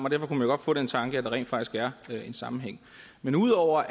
og derfor kunne man godt få den tanke at der rent faktisk er en sammenhæng men ud over